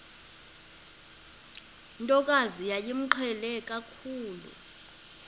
ntokazi yayimqhele kakhulu